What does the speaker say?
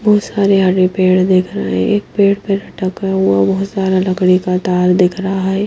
बहुत सारे हरे पेड़ देख रहे हैं पेड़ पर ठका हुआ बहुत सारा लकड़ी का तार दिख रहा है।